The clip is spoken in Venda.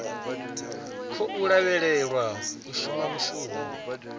khou lavhelelwa u shuma mushumo